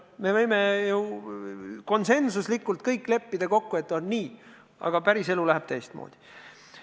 Me võime ju konsensuslikult kokku leppida, et on nii, aga päriselu läheb teistmoodi.